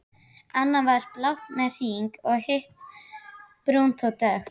Annað var blátt með hring í, hitt brúnt og dökkt.